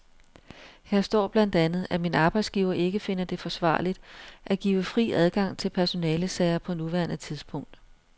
Her står blandt andet, at min arbejdsgiver ikke finder det forsvarligt at give fri adgang til personalesager på nuværende tidspunkt.